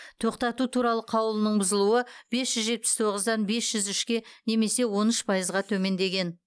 тоқтату туралы қаулының бұзылуы бес жүз жетпіс тоғыздан бес жүз үшке немесе он үш пайызға төмендеген